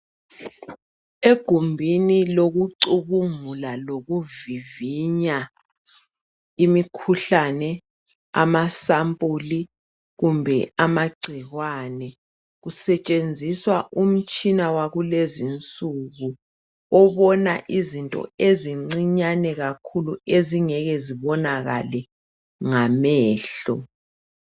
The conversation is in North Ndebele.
Egumbini lokucubungula lokuvivinya imikhuhlane, amasampuli kumbe amagcikwane. Kusetshenziswa umitshina wakulezinsuku obona izinto ezincinyane kakhulu ezingeke zibonakele ngamehlo.